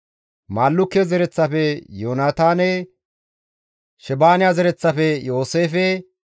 Maallukke zereththafe Yoonataane, Shebaaniya zereththafe Yooseefe,